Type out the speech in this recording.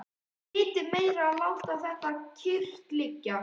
Vitið meira að láta þetta kyrrt liggja.